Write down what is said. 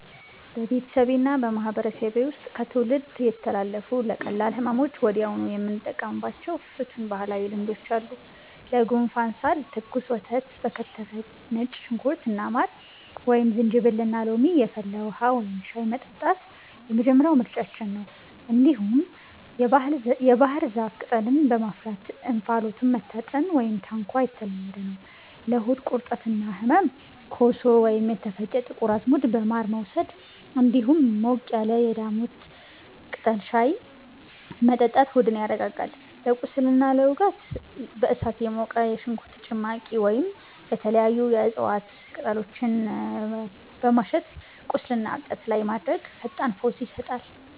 በቤተሰቤና በማህበረሰቤ ውስጥ ከትውልድ የተላለፉ፣ ለቀላል ህመሞች ወዲያውኑ የምንጠቀማቸው ፍቱን ባህላዊ ልማዶች አሉ፦ ለጉንፋንና ሳል፦ ትኩስ ወተት በከተፈ ነጭ ሽንኩርትና ማር፣ ወይም ዝንጅብልና ሎሚ የፈላ ውሃ (ሻይ) መጠጣት የመጀመሪያው ምርጫችን ነው። እንዲሁም የባህር ዛፍ ቅጠልን በማፍላት እንፋሎቱን መታጠን (ታንኳ) የተለመደ ነው። ለሆድ ቁርጠትና ህመም፦ ኮሶ ወይም የተፈጨ ጥቁር አዝሙድ በማር መውሰድ፣ እንዲሁም ሞቅ ያለ የዳሞታ ቅጠል ሻይ መጠጣት ሆድን ያረጋጋል። ለቁስልና ለውጋት፦ በእሳት የሞቀ የሽንኩርት ጭማቂ ወይም የተለያዩ የእጽዋት ቅጠሎችን በማሸት ቁስልና እብጠት ላይ ማድረግ ፈጣን ፈውስ ይሰጣል።